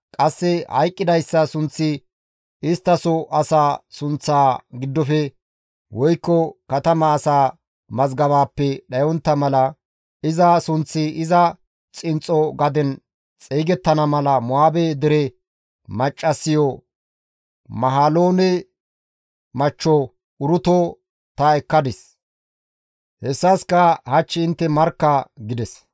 Qasse hayqqidayssa sunththi isttaso asaa sunththa giddofe woykko katama asaa mazgabaappe dhayontta mala, iza sunththi iza xinxxo gaden xeygettana mala Mo7aabe dere maccassiyo Mahaloone machcho Uruto ta ekkadis; hessaska hach intte markka» gides.